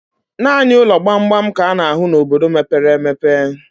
Naanị ụlọ gbamgbam ka a na-ahụ n' obodo mepere emepe.